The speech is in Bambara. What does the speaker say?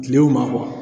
Kile o maa